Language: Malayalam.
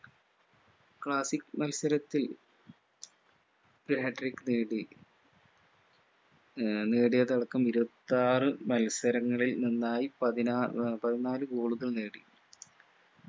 classic മത്സരത്തിൽ hat-trick നേടി അഹ് നേടിയതടക്കം ഇരുവത്താറു മത്സരങ്ങളിൽ നിന്നായി പതിനാ ആഹ് പതിനാല്‌ goal കൾ നേടി